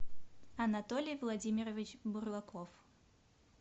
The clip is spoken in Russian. анатолий владимирович бурлаков